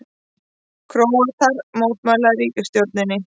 Króatar mótmæla ríkisstjórninni